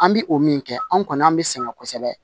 An bi o min kɛ anw kɔni an be sɛgɛn kosɛbɛ